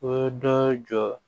O dɔ ye jɔ